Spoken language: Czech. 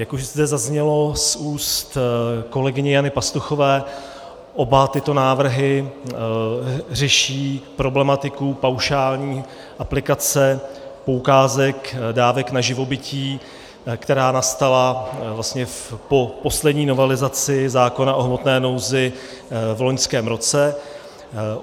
Jak už zde zaznělo z úst kolegyně Jany Pastuchové, oba tyto návrhy řeší problematiku paušální aplikace poukázek dávek na živobytí, která nastala vlastně po poslední novelizaci zákona o hmotné nouzi v loňském roce.